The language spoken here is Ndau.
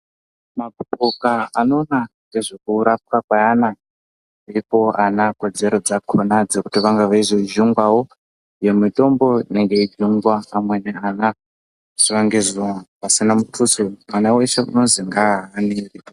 Mapoka anoona nezvekurapwa kwevana kuitira kodzero yakona Kuti vange veizojungwawo mitombo inenge yeijungwawo amweni ana zuwa ngezuwa pasina mutuso mwana wese unonzi ngahanire.